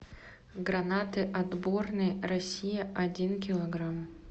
гранаты отборные россия один килограмм